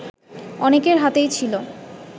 অনেকের হাতেই ছিল